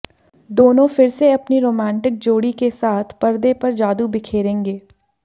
दोनों फिर से अपनी रोमांटिक जोड़ी के साथ परदे पर जादू बिखेंरेगे